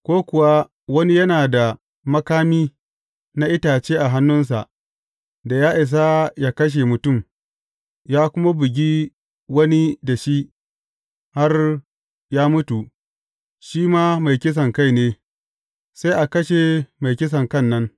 Ko kuwa wani yana da makami na itace a hannunsa da ya isa yă kashe mutum, ya kuma bugi wani da shi har ya mutu, shi ma mai kisankai ne, sai a kashe mai kisankan nan.